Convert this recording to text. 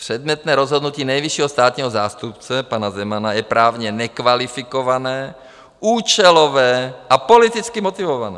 Předmětné rozhodnutí nejvyššího státního zástupce pana Zemana je právně nekvalifikované, účelové a politicky motivované.